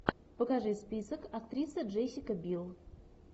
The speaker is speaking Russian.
покажи список актриса джессика бил